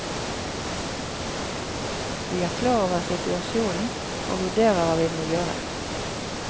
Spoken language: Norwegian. Vi er klar over situasjonen, og vurderer hva vi må gjøre.